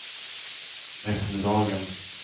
eftermiddagen